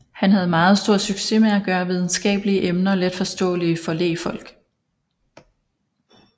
Han havde meget stor succes med at gøre videnskabelige emner letforståelige for lægfolk